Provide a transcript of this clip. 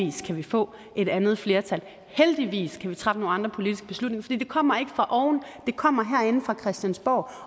kan vi få et andet flertal heldigvis kan vi træffe nogle andre politiske beslutninger for det kommer ikke fra oven det kommer herinde fra christiansborg